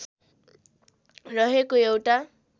रहेको एउटा